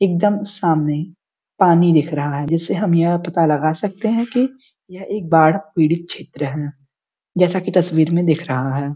इकदम सामने पानी दिख रहा है जिससे हम यह पता लगा सकते है कि यह एक बाड़ पीड़ित क्षेत्र है जैसा कि तस्वीर में दिख रहा है।